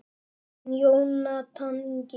Þinn Jónatan Ingi.